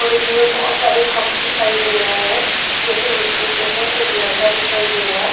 और इसमें बहोत सारे कप दिखाई दे रहे हैं जोकि मिट्टी के हैं एक लड़का दिखाई दे रहा है।